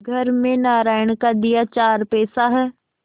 घर में नारायण का दिया चार पैसा है